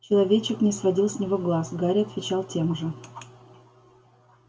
человечек не сводил с него глаз гарри отвечал тем же